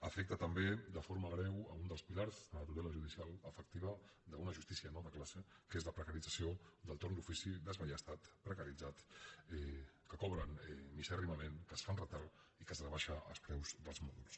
afecta també de forma greu un dels pilars de la tutela judicial efectiva d’una justícia no de classe que és la precarització del torn d’ofici desballestat precaritzat que cobra misèrrimament que es fa amb retard i en què es rebaixen els preus dels mòduls